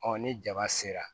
ni jaba sera